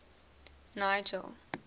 nigel